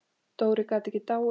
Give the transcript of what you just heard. Dóri gat ekki dáið.